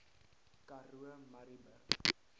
karoo murrayburg